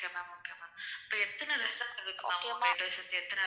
Okay மா.